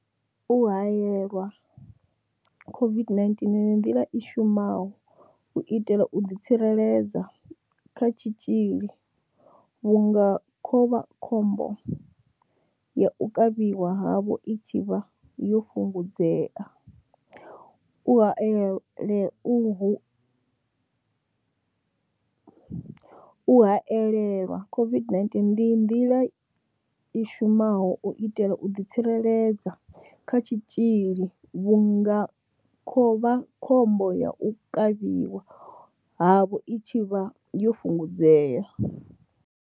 U haelelwa COVID-19 ndi nḓila i shumaho u itela u ḓi tsireledza kha tshitzhili vhunga khovhakhombo ya u kavhiwa havho i tshi vha yo fhungudzea. U hae u hu haelelwa COVID-19 ndi nḓila i shumaho u itela u ḓi tsireledza kha tshitzhili vhunga khovhakhombo ya u kavhiwa havho i tshi vha yo fhungudzea.